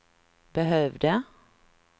behövde